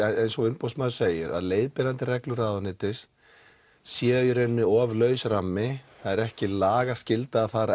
eins og umboðsmaður segir að leiðbeinandi reglur ráðuneytis séu í raun of laus rammi það er ekki lagaskylda að fara